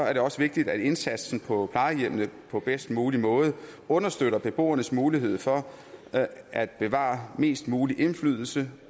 er det også vigtigt at indsatsen på plejehjemmene på bedst mulig måde understøtter beboernes mulighed for at bevare mest mulig indflydelse